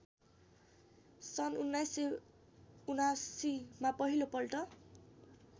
सन् १९७९ मा पहिलोपल्ट